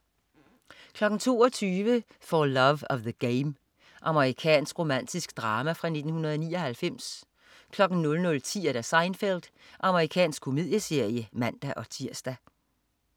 22.00 For Love of the Game. Amerikansk romantisk drama fra 1999 00.10 Seinfeld. Amerikansk komedieserie (man-tirs)